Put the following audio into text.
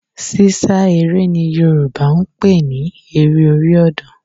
Sísá eré ni Yorùbá ń pè ní eré orí ọ̀dàn